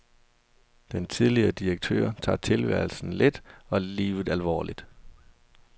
Den tidligere direktør tager tilværelsen let og livet alvorligt.